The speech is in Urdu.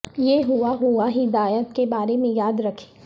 یہ ہوا ہوا ہدایات کے بارے میں یاد رکھیں